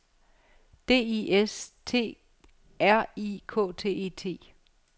D I S T R I K T E T